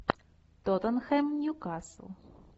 тоттенхэм ньюкасл